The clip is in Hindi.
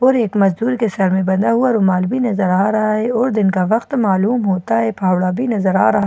और एक मजदूर के सर में बंधा हुआ रुमाल भी नजर आ रहा है और दिन का वक्त मालूम होता है फावड़ा भी नजर आ रहा--